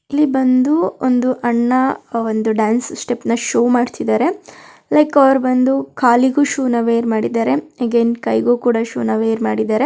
ಇಲ್ಲಿ ಬಂದು ಒಂದು ಅಣ್ಣ ಒಂದು ಡ್ಯಾನ್ಸ್ ಸ್ಟೆಪ್ ನ ಶೋ ಮಾಡ್ತಿದ್ದಾರೆ ಲೈಕ್ ಅವರು ಬಂದು ಕಾಲಿಗೂ ಶೂನ ವೇರ್ ಮಾಡಿದ್ದಾರೆ ಅಗೇನ್ ಕೈಗೂ ಕೂಡ ಶೂ ವೇರ್ ಮಾಡಿದರೆ.